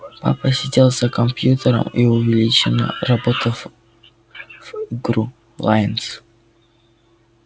папа сидел за компьютером и увлечённо работал в игру лайнс